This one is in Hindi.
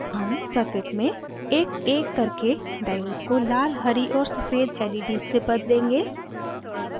हम circuit में एकएक ककरे diode को लाल हरी और सफ़ेद leds से बदलेंगे